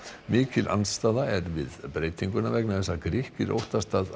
mikil andstaða er við breytinguna vegna þess að Grikkir óttast að